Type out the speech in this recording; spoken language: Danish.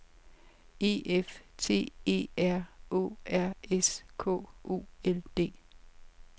E F T E R Å R S K O L D